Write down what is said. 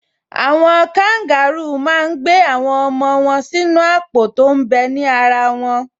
Àwọn kangarúù máa n gbé àwọn ọmọ wọn sínú àpò tó m bẹ ní ara wọn